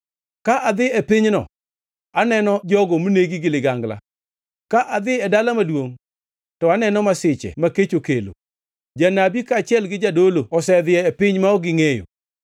Ka adhi e pinyno, aneno jogo monegi gi ligangla; ka adhi e dala maduongʼ, to aneno masiche ma kech okelo. Janabi kaachiel gi jadolo osedhi e piny ma ok gingʼeyo.’ ”